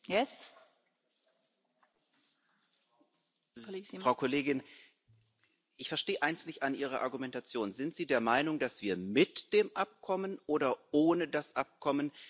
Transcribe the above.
Frau Kollegin, ich verstehe eins nicht an Ihrer Argumentation Sind Sie der Meinung, dass wir mit dem Abkommen oder ohne das Abkommen mehr Einfluss auf das autoritäre Regime haben?